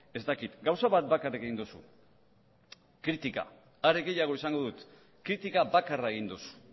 ez dakit gauza bat bakarrik egin duzu kritika are gehiago esango dut kritika bakarra egin duzu